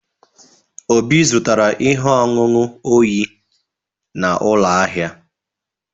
Obi zụtara ihe ọṅụṅụ oyi na ụlọ ahịa.